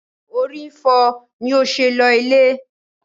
She was having headache that was she went home.